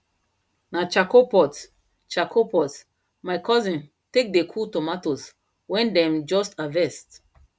na charcoal pot charcoal pot my cousin take dey cool tomatoes wen them just harvest